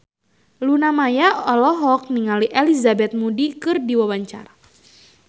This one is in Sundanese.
Luna Maya olohok ningali Elizabeth Moody keur diwawancara